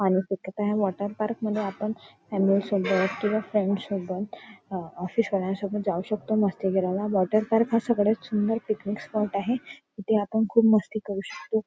आणि तिथं काय आहे वॉटर पार्क मध्ये आपण फॅमिली सोबत किंवा फ्रेंड सोबत अं ऑफिस वाल्या सोबत जाऊ शकतो मस्ती करायला वॉटर पार्क हा सगळ्यात सुंदर पिकनिक स्पॉट आहे तिथे आपण खूप मस्ती करू शकतो.